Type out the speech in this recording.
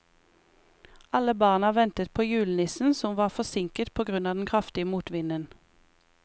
Alle barna ventet på julenissen, som var forsinket på grunn av den kraftige motvinden.